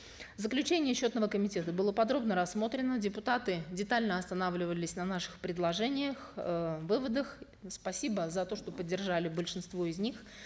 заключение счетного комитета было подробно рассмотрено депутаты детально останавливались на наших предложениях э выводах спасибо за то что поддержали большинство из них